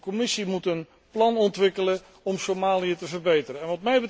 De Commissie moet een plan ontwikkelen om Somalië te verbeteren.